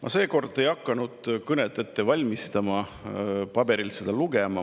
Ma seekord ei hakanud kõnet ette valmistama, et seda paberilt ette lugeda.